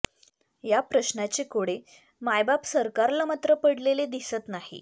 या प्रश्नाचे कोडे मायबाप सरकारला मात्र पडलेले दिसत नाही